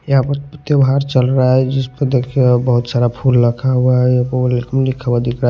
यहां पर त्योहार चल रहा है जिस पर देखिए बहुत सारा फूल रखा हुआ है लिखा हुआ दिख रहा है।